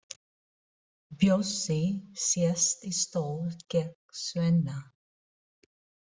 Bjössi sest í stól gegnt Svenna.